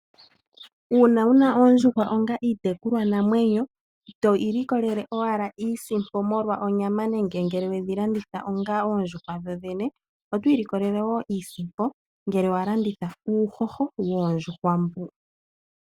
Uuna wuna oondjuhwa onga iitekulwanamwenyo ito ilikolele owala iisimpo molwa onyama nenge ngele wedhi landitha onga oondjuhwa dho dhene oto ilikolele iisimpo ngele walanditha uuhoho woondjuhwa mbu.